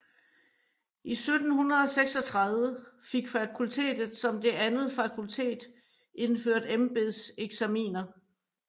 I 1736 fik fakultetet som det andet fakultet indført embedseksaminer